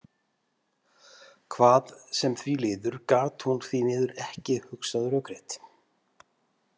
Hvað sem því líður gat hún því miður ekki hugsað rökrétt.